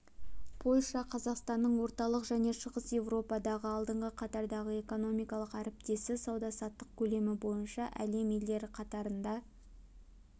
польша қазақстанның орталық және шығыс еуропадағы алдыңғы қатардағы экономикалық әріптесі сауда-саттық көлемі бойынша әлем елдері қатарында